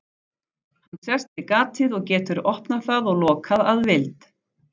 Hann sest við gatið og getur opnað það og lokað að vild.